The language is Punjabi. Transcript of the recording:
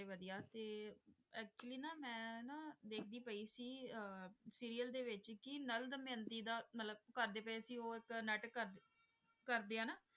ਵਧੀਆ ਤੇ actually ਨਾ ਮੈਂ ਨਾ ਦੇਖਦੀ ਪਈ ਸੀ ਅਹ serial ਦੇ ਵਿੱਚ ਕਿ ਨਲ ਦਮਿਅੰਤੀ ਦਾ ਮਤਲਬ ਕਰਦੇ ਪਏ ਸੀ ਉਹ ਇੱਕ ਨਾਟਕ ਕਰਦੇ, ਕਰਦੇ ਆ ਨਾ,